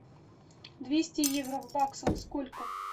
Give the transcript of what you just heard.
двести евро в баксах сколько